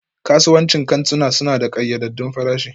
Kasuwancin kantuna suna da ƙayyadaddun farashi